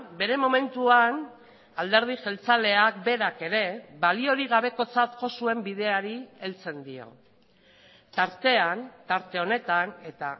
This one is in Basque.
bere momentuan alderdi jeltzaleak berak ere baliorik gabekotzat jo zuen bideari heltzen dio tartean tarte honetan eta